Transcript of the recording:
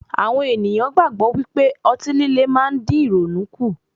Àwọn ènìyàn gbàgbọ́ pé otí líle má ń dín ìrònú kù.